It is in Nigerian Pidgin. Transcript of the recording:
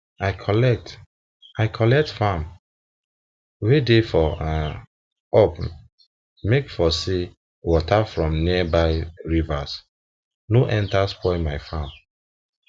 i collect i collect farm land wen dey for um up make for say water from nearby rivers nor enta spoil my farm